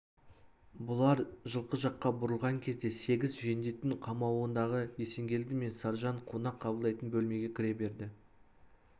бұлар жылқы жаққа бұрылған кезде сегіз жендеттің қамауындағы есенгелді мен саржан қонақ қабылдайтын бөлмеге кіре берді